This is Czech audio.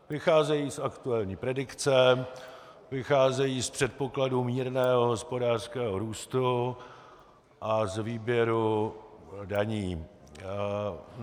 Vycházejí z aktuální predikce, vycházejí z předpokladu mírného hospodářského růstu a z výběru daní.